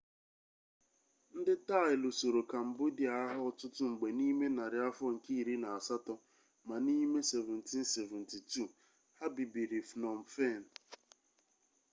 ndị taị lusoro kambodịa agha ọtụtụ mgbe n'ime narị afọ nke iri na asatọ ma n'ime 1772 ha bibiri phnom phen